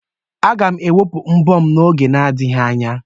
Aga m ewepụ mbọ m n'oge adịghị anya.